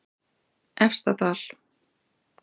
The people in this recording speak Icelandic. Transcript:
Efstadal